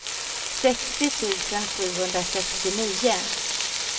sextio tusen sjuhundrasextionio